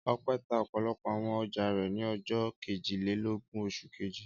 Ọpẹ́ tá ọ̀pọ̀lọpọ̀ àwọn ọjà rẹ̀ ní ọjọ́ kejìlélógún oṣù kejì.